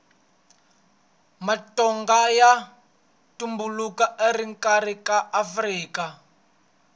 matonga ya tumbuluka exikarhi ka afrika